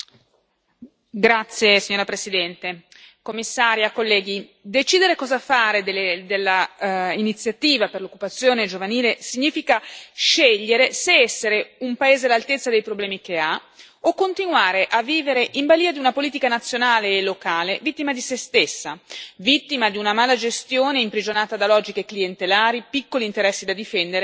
Signora Presidente, signora Commissaria, onorevoli colleghi, decidere cosa fare dell'Iniziativa per l'occupazione giovanile significa scegliere se essere un paese all'altezza dei problemi che ha o continuare a vivere in balia di una politica nazionale e locale vittima di se stessa, vittima di una malagestione imprigionata da logiche clientelari, piccoli interessi da difendere e nutrire come si può.